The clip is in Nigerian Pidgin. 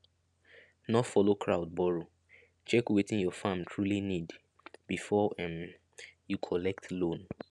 no follow crowd borrow check wetin your farm truly need before um you collect loan